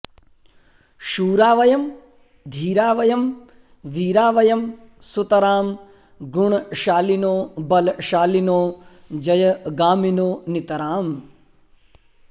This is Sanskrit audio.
शूरा वयं धीरा वयं वीरा वयं सुतरां गुणशालिनो बलशालिनो जयगामिनो नितराम्